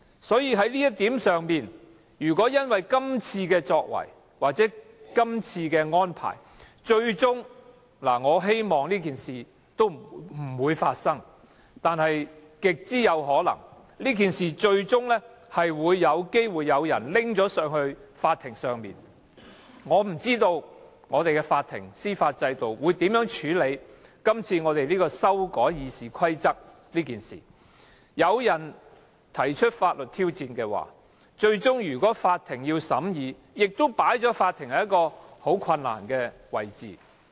所以，在這一點上，如果因為今次的決定或安排，最終——我希望這件事不會發生，但極可能發生——可能有人訴諸法庭。我不知道法庭及司法制度將如何處理這次修改《議事規則》的事件，如果有人提出法律挑戰，最終要法庭裁決，亦會令法庭很為難。